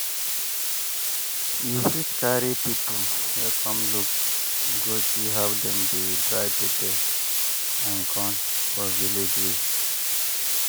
you fit carry people wey come look go see how dem dey dry pepper and corn for village way.